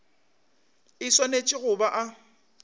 e swanetše go ba a